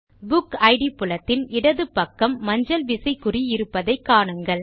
புக்கிட் புலத்தின் இடது பக்கம் மஞ்சள் விசை குறி இருப்பதை காணுங்கள்